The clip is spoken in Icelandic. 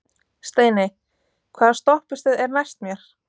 Steini, hvaða stoppistöð er næst mér?